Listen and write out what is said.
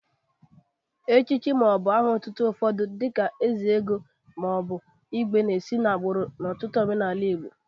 Echichi ma ọ bụ aha ọtụtụ ụfọdụ dị ka ezeogo ma ọ bụ igwe na-eso n'agbụrụ n'ọtụtụ omenaala Igbo.